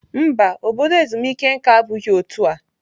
Mba, obodo ezumike nka abụghị otu a.